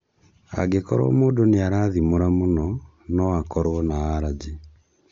Angĩkorwo mũndũ nĩarathimũra mũno, no akorwo na alajĩ